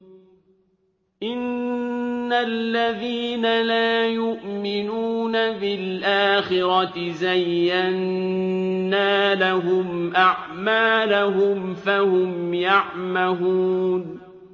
إِنَّ الَّذِينَ لَا يُؤْمِنُونَ بِالْآخِرَةِ زَيَّنَّا لَهُمْ أَعْمَالَهُمْ فَهُمْ يَعْمَهُونَ